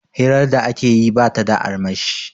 hirar da ake yi ba ta da armashi